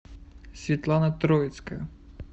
светлана троицкая